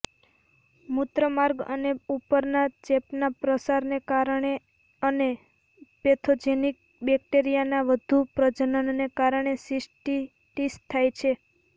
મૂત્રમાર્ગ અને ઉપરના ચેપના પ્રસારને કારણે અને પેથોજિનિક બેક્ટેરિયાના વધુ પ્રજનનને કારણે સિસ્ટીટીસ થાય છે